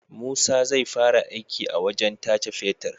Musa zai fara aiki a wajan tace fetir